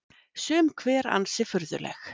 Sum hver ansi furðuleg